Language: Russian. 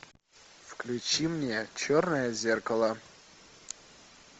включи мне черное зеркало